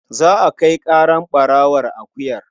Za a kai ƙarar ɓarawon akuyar.